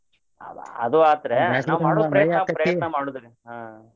ಅ~ ಅದು ಆತ್ರಿ ಪ್ರಯತ್ನ ಮಾಡುದ್ರಿ ಹ್ಮ.